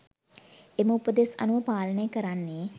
එම උපදෙස් අනුව පාලනය කරන්නේ